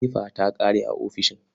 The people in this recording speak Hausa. Fefa ta ƙare a ofishin.